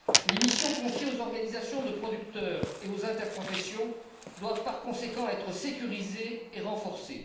Les missions confiées aux organisations de producteurs et aux interprofessions doivent, par conséquent, être sécurisées et renforcées.